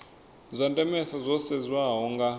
zwa ndemesa zwo sedzeswaho nga